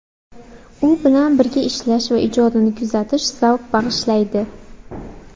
U bilan birga ishlash va ijodini kuzatish zavq bag‘ishlaydi”.